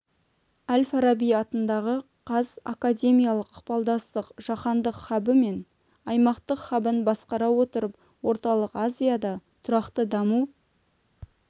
әл-фараби атындағы қаз академиялық ықпалдастық жаһандық хабы мен аймақтық хабын басқара отырып орталық азияда тұрақты даму